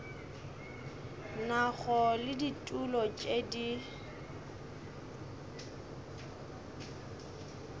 nago le ditulo tše di